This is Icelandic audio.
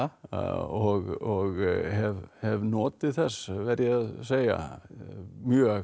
og hef hef notið þess verð ég að segja mjög